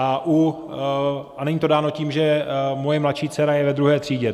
A není to dáno tím, že moje mladší dcera je ve druhé třídě.